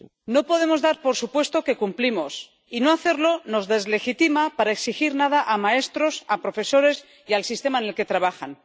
No podemos dar por supuesto que cumplimos, y no hacerlo nos deslegitima para exigir nada a maestros, a profesores y al sistema en el que trabajan.